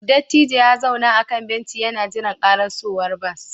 Dattijon ya zauna a kan benci yana jiran karasowar bas